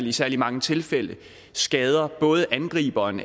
i særlig mange tilfælde skader både angriberen